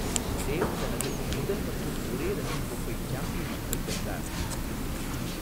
தேவ் தனது முதல் மற்றும் ஒரே ரஞ்சி கோப்பை சாம்பியன்ஷிப்பை வென்றார்.